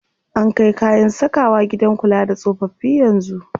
An kai kayan sakawa gidan kula da tsofaffi yanzu.